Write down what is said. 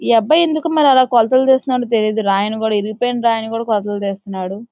ఈ అబ్బాయి ఎందుకో మరి అలాగే కొలతలు తెస్తున్నాడో తెలీదు రాయను కూడా ఇరిగిపోయిన రాయని కూడా కొలతలు తెస్తున్నాడు.